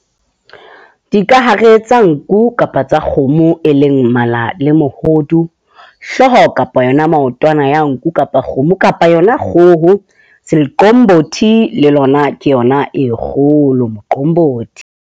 Dikahare tsa nku kapa tsa kgomo, e leng mmala le mohodu, hlooho kapa ona maotwana ya nku, kapa kgomo kapa yona kgoho. Le lona ke yona e kgolo .